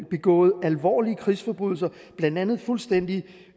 begået alvorlige krigsforbrydelser blandt andet fuldstændig